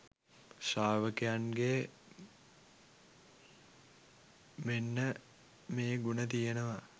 ශ්‍රාවකයන්ගේ මෙන්න මේ ගුණ තියෙනවා